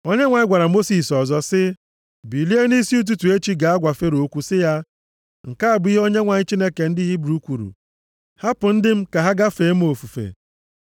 Onyenwe anyị gwara Mosis ọzọ sị, “Bilie nʼisi ụtụtụ echi gaa gwa Fero okwu sị ya, ‘Nke a bụ ihe Onyenwe anyị Chineke ndị Hibru kwuru, Hapụ ndị m ka ha gaa fee m ofufe.